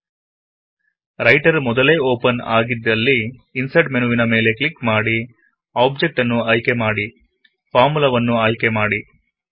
writer menu ಮೊದಲೇ open ಆಗಿದ್ದಲ್ಲಿ insert ಮೆನುವಿನ ಮೇಲೆ ಕ್ಲಿಕ್ ಮಾಡಿ ಆಬ್ಜೆಕ್ಟ್ ಅನ್ನು ಆಯ್ಕೆ ಮಾಡಿ ಫಾರ್ಮುಲಾವನ್ನು ಆಯ್ಕೆ ಮಾಡಿ